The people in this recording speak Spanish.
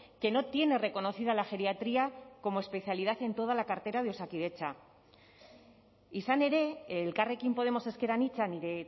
que no tiene reconocida la geriatría como especialidad en toda la cartera de osakidetza izan ere elkarrekin podemos ezker anitza nire